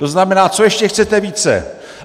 To znamená, co ještě chcete více?